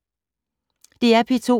DR P2